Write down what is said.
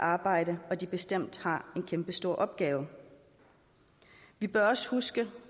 arbejde og at de bestemt har en kæmpestor opgave vi bør også huske